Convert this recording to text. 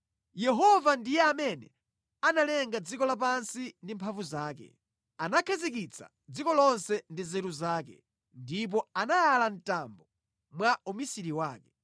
“Yehova analenga dziko lapansi ndi mphamvu zake; Iye anapanga dziko lonse ndi nzeru zake ndipo anayala thambo mwaluso lake.